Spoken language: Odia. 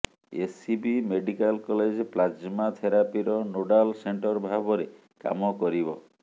ଏସ୍ସିବି ମେଡିକାଲ କଲେଜ ପ୍ଲାଜମା ଥେରାପିର ନୋଡାଲ ସେଣ୍ଟର ଭାବରେ କାମ କରିବ